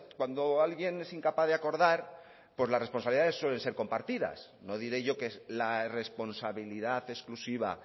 cuando alguien es incapaz de acordar pues las responsabilidades suelen ser compartidas no diré yo que la responsabilidad exclusiva